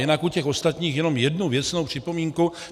Jinak u těch ostatních jenom jednu věcnou připomínku.